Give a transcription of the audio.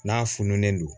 N'a fununen don